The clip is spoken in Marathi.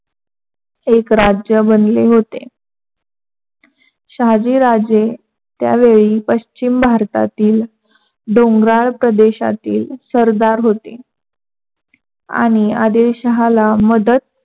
एक राज्य बनले होते. शहाजी राजे त्या वेळी पश्चिम भारतातील डोंगराळ प्रदेशातील शरदार होते. आणि आदिलशहाला मदत